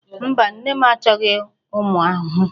Mba, nne m achọghị ụmụ ahụhụ